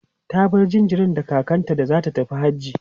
ta bar jinjirin da kakanta da zata tafi hajji